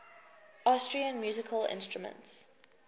austrian musical instruments